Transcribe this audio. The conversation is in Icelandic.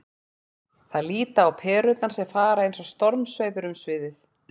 Þær líta á perurnar sem fara eins og stormsveipur um sviðið.